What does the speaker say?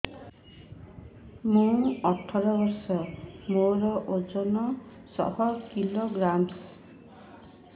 ମୁଁ ଅଠର ବର୍ଷ ମୋର ଓଜନ ଶହ କିଲୋଗ୍ରାମସ